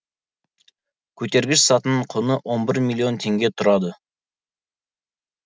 көтергіш сатының құны он бір миллион теңге тұрады